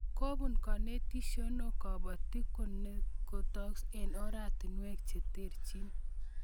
Kobun konetishioni kobotik konetokis eng oratinwek che terchin